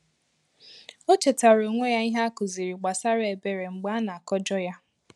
O chetàra onwe ya ìhè a kụziri gbasara ebere mgbe a na-akọjọ ya.